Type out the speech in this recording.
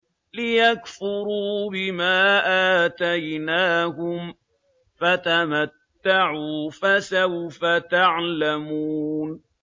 لِيَكْفُرُوا بِمَا آتَيْنَاهُمْ ۚ فَتَمَتَّعُوا ۖ فَسَوْفَ تَعْلَمُونَ